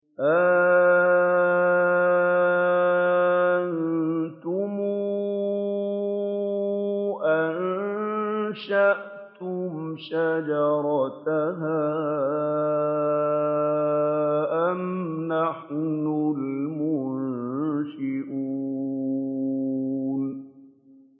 أَأَنتُمْ أَنشَأْتُمْ شَجَرَتَهَا أَمْ نَحْنُ الْمُنشِئُونَ